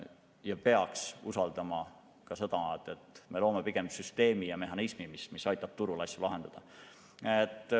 Ja peaks usaldama, et me loome pigem süsteemi ja mehhanismi, mis aitab turul asju lahendada.